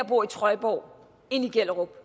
på trøjborg end i gellerup